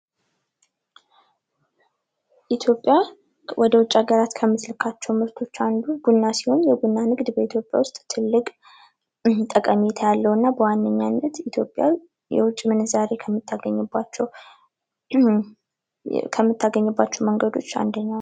ኢትዮጵያ ወደ ውጭ ሀገራት ከምትልካቸው ምርቶች አንዱ ቡና ቡና ሲሆን የቡና ንብ በኢትዮጵያ ውስጥ ትልቅ ጠቀሜታ ያለውና በዋነኛነት ኢትዮጵያ የውጭ ምንዛሬ ከምታገኝባቸው መንገዶች አንደኛ እንደኛው ነው ።